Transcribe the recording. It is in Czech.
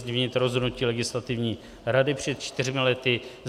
Změnit rozhodnutí Legislativní rady před čtyřmi lety.